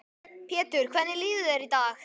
Pétur: Hvernig líður þér í dag?